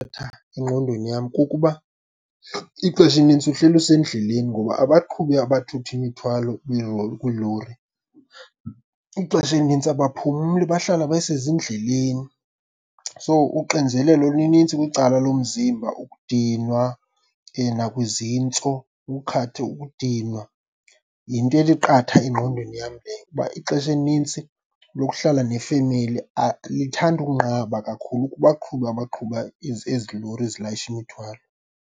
Engqondweni yam kukuba ixesha elinintsi uhleli usendleleni ngoba abaqhubi abathutha imithwalo kwiilori ixesha elinintsi abaphumli bahlala besezindleleni. So, uxinzelelo luninzi kwicala lomzimba, ukudinwa nakwizintso, ukudinwa yinto ethi qatha engqondweni yam leyo. Uba ixesha elinintsi lokuhlala nefamily lithanda ukunqaba kakhulu kubaqhubi abaqhuba ezi, ezi lori zilayisha imithwalo.